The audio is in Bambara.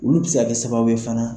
Olu bi se ka kɛ sababu ye fana.